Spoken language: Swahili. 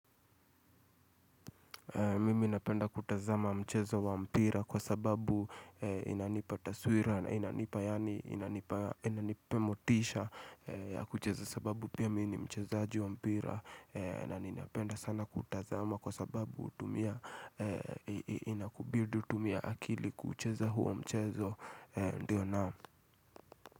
Mimi napenda kutazama mchezo wa mpira kwa sababu inanipa taswira na inanipa yani inanipa inanipee motisha kucheza sababu pia mimi ni mchezaji wa mpira na ninapenda sana kutazama kwa sababu inakubidi utumie akili kuuchezo huo mchezo ndio naam.